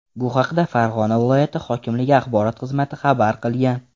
Bu haqda Farg‘ona viloyati hokimligi axborot xizmati xabar qilgan .